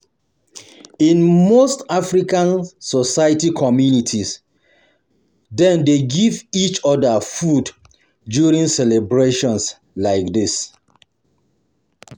In most African society communities, dem dey give each other food during celebrations like this.